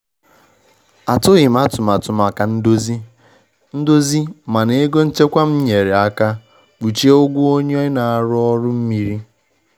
Atụghị m atụmatụ maka ndozi, ndozi, mana ego nchekwa m nyeere aka kpuchie ụgwọ onye na-arụ ọrụ mmiri.